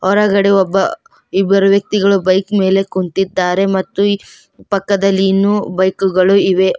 ಹೊರಗಡೆ ಒಬ್ಬ ಇಬ್ಬರು ವ್ಯಕ್ತಿಗಳು ಬೈಕ್ ಮೇಲೆ ಕುಂತಿದ್ದಾರೆ ಮತ್ತು ಪಕ್ಕದಲ್ಲಿ ಇನ್ನು ಬೈಕು ಗಳು ಇವೆ.